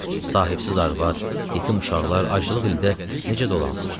Sahibsiz arvad, yetim uşaqlar aclıq ildə necə dolansın?